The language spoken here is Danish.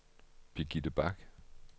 Birgitte Bach